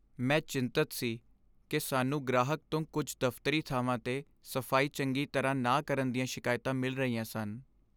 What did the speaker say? ਮੈਂ ਚਿੰਤਤ ਸੀ ਕਿ ਸਾਨੂੰ ਗ੍ਰਾਹਕ ਤੋਂ ਕੁਝ ਦਫ਼ਤਰੀ ਥਾਵਾਂ 'ਤੇ ਸਫਾਈ ਚੰਗੀ ਤਰਾਹ ਨਾ ਕਰਨ ਦੀਆਂ ਸ਼ਿਕਾਇਤਾਂ ਮਿਲ ਰਹੀਆਂ ਸਨ।